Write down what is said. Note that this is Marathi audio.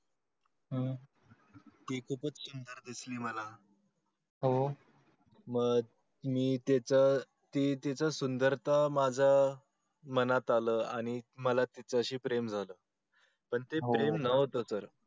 हो मग मी तीच ती तीच सुदंरता माझं मनात आलं आणि मला तिच्या शी प्रेम झालं पण ते प्रेम नव्हतं